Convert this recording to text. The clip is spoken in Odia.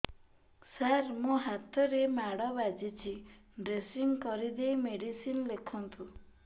ସାର ମୋ ହାତରେ ମାଡ଼ ବାଜିଛି ଡ୍ରେସିଂ କରିଦେଇ ମେଡିସିନ ଲେଖନ୍ତୁ